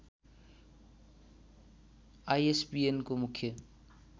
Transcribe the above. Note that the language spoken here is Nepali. आईएसबीएनको मुख्य